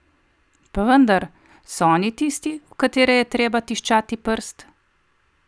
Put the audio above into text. Pa vendar, so oni tisti, v katere je treba tiščati prst?